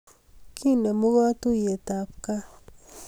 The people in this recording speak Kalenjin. Kinemu katuyeit ab kaa